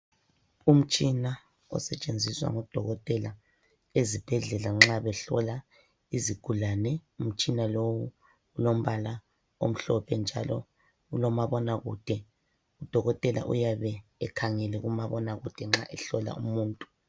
Umtshina osetshenziswa ngodokotela ezibhedlela nxa behlola izigulane umtshina lowu ulombala omhlophe njalo ulomabona kude udokotela uyabe ekhangele kumabona kude nxa ehlola umuntu.